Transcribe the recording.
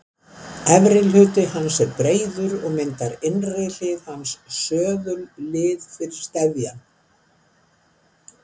Efri hluti hans er breiður og myndar innri hlið hans söðullið fyrir steðjann.